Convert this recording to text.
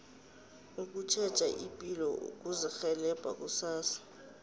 ukutjheja ipilo kuzirhelebha kusasa